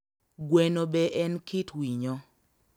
Gweno be en kit winyo